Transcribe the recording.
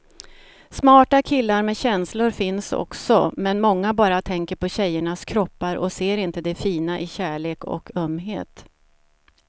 Smarta killar med känslor finns också, men många bara tänker på tjejernas kroppar och ser inte det fina i kärlek och ömhet.